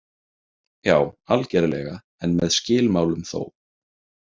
Já, algerlega, en með skilmálum þó.